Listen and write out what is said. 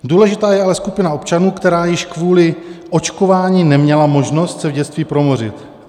Důležitá je ale skupina občanů, která již kvůli očkování neměla možnost se v dětství promořit.